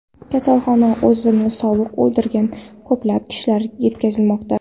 Kasalxonaga o‘zini sovuq oldirgan ko‘plab kishilar yetkazilmoqda.